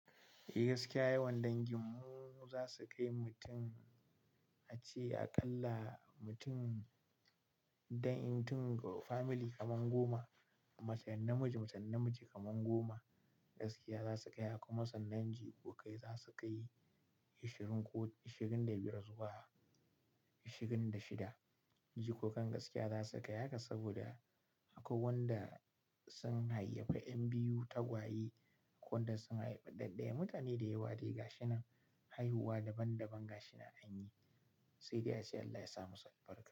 Eh gaskiya yawan danginmu za su kai mutum a ce a ƙalla mutum don in tun fa mili kaman goma. Matan namiji, matan namiji kaman goma gaskiya za su kai. Akwai masan dangi ko kai za su kai ashirin ko ashirin da biyar zuwa ashirin da shida. Jikokan gaskiya za su kai haka saboda akwai wanda sun haifi ƴan biyu tagwaye. Akwai wanda sun haifi ɗaɗɗaya. Mutane da yawa riga shi nan haihuwa daban daban gashi nan an yi. Sai dai ace Allah ya sa musu albarka.